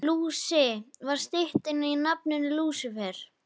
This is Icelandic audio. Lúsi var stytting á nafninu Lúsífer.